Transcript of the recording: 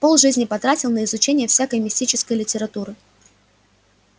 полжизни потратил на изучение всякой мистической литературы